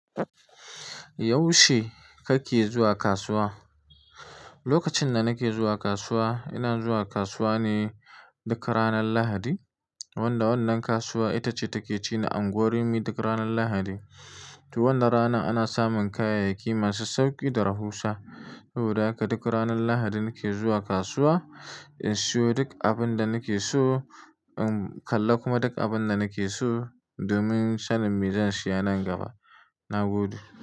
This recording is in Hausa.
Yaushe kake zuwa kasuwa? Lokacin da nake zuwa kasuwa, ina zuwa kasuwa ne duk ranar Lahadi. Wanda wannan kasuwa ita ce take ci na unguwar Rimi duk ranar Lahadi. To wannan ranar ana samun kayayyaki masu sauki da rahusa. Saboda haka duk ranar Lahadi nake zuwa kasuwa in siyo duk abin da nake so, in kalla kuma duk abin da nake so domin sanin me zan siya nan gaba. Na gode.